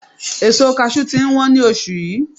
Èso Kaṣú ti ń wọn ní oṣù yìí.